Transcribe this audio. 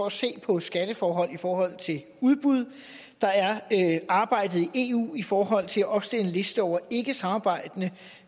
at se på skatteforhold i forhold til udbud der er arbejdet i eu i forhold til at opstille en liste over ikkesamarbejdende